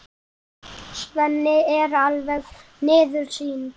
Svenni er alveg miður sín.